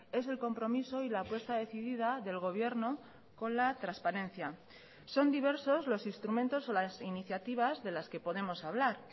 es el compromiso y la apuesta decidida del gobierno con la transparencia son diversos los instrumentos o las iniciativas de las que podemos hablar